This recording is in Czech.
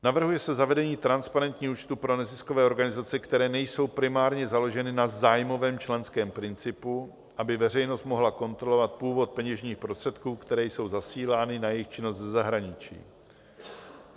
Navrhuje se zavedení transparentních účtů pro neziskové organizace, které nejsou primárně založeny na zájmovém členském principu, aby veřejnost mohla kontrolovat původ peněžních prostředků, které jsou zasílány na jejich činnost ze zahraničí.